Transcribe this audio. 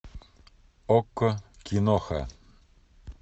окко киноха